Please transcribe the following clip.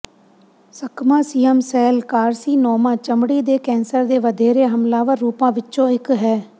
ਸਕਮਾਸੀਅਮ cell carcinoma ਚਮੜੀ ਦੇ cancer ਦੇ ਵਧੇਰੇ ਹਮਲਾਵਰ ਰੂਪਾਂ ਵਿੱਚੋਂ ਇੱਕ ਹੈ